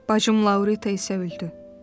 Bacım Laurita isə öldü.